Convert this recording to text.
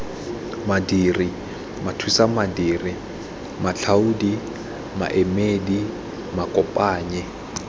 madiri mathusamadiri matlhaodi maemedi makopanyi